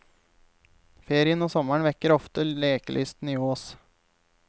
Ferien og sommeren vekker ofte lekelysten i oss.